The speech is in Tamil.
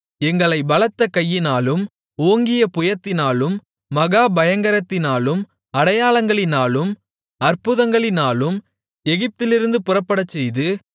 எங்களைப் பலத்த கையினாலும் ஓங்கிய புயத்தினாலும் மகா பயங்கரங்களினாலும் அடையாளங்களினாலும் அற்புதங்களினாலும் எகிப்திலிருந்து புறப்படச்செய்து